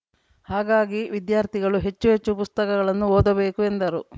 ಹಾಗಾಗಿ ವಿದ್ಯಾರ್ಥಿಗಳು ಹೆಚ್ಚು ಹೆಚ್ಚು ಪುಸ್ತಕಗಳನ್ನು ಓದಬೇಕು ಎಂದರು